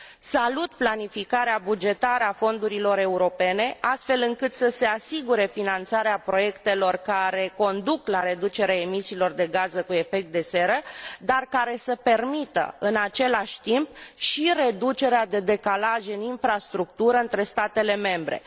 Salut planificarea bugetară a fondurilor europene, astfel încât să se asigure finanțarea proiectelor care conduc la reducerea emisiilor de gaze cu efect de seră, dar care să permită, în același timp, și reducerea decalajelor în infrastructură între statele membre.